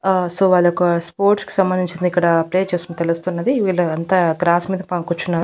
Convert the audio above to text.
ఆ సో వాళ్ళొక స్పోర్ట్స్ కు సంబంధించింది ఇక్కడ ప్లే చేస్తున్నట్టు తెలున్నది వీళ్ళు అంతా గ్రాస్ మీద పాపం కూర్చున్నారు.